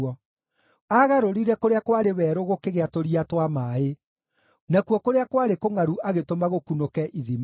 Aagarũrire kũrĩa kwarĩ werũ gũkĩgĩa tũria twa maaĩ, nakuo kũrĩa kwarĩ kũngʼaru agĩtũma gũkunũke ithima;